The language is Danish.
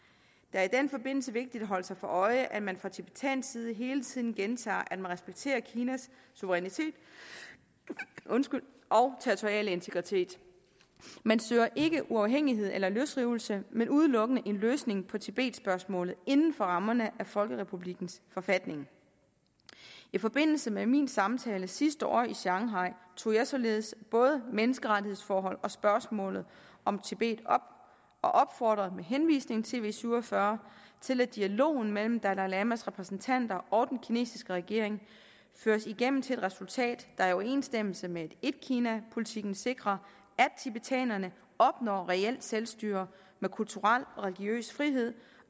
er i den forbindelse vigtigt at holde sig for øje at man fra tibetansk side hele tiden gentager at man respekterer kinas suverænitet og territoriale integritet man søger ikke uafhængighed eller løsrivelse men udelukkende en løsning på tibetspørgsmålet inden for rammerne af folkerepublikkens forfatning i forbindelse med min samtale sidste år i shanghai tog jeg således både menneskerettighedsforhold og spørgsmålet om tibet op og opfordrede med henvisning til v syv og fyrre til at dialogen mellem dalai lamas repræsentanter og den kinesiske regering føres igennem til et resultat der i overensstemmelse med etkinapolitikken sikrer at tibetanerne opnår reelt selvstyre med kulturel og religiøs frihed